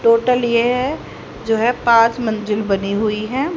Total ये हैं जो हैं पाँच मंजिल बनी हुई हैं।